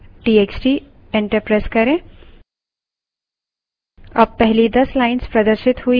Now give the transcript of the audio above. head numbers txt enter करें